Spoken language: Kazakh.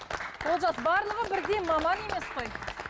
олжас барлығы бірдей маман емес қой